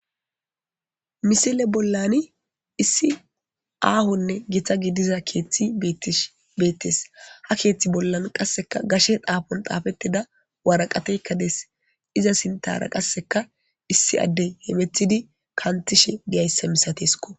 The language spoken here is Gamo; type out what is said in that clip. Misile bollani issi aahonne gita gidiza keeththi beettes beettes. Ha keeththi bollan qasseka gashe dhaafon dhaafettida waraqateykka dees. Iza sinttaara qasseka issi addey heemethidi kantishe diyayssa misateskko.